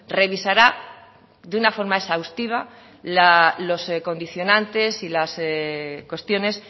revisará de una forma exhaustiva los condicionantes y las cuestiones